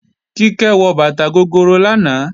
Kíkẹ́ wọ bàtà gogoro lánàá